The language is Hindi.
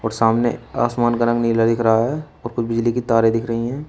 और सामने आसमान का रंग नीला दिख रहा है और कुछ बिजली की तारे दिख रही हैं।